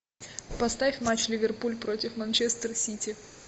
поставь матч ливерпуль против манчестер сити